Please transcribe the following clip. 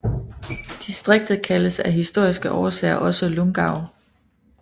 Distriktet kaldes af historiske årsager også Lungau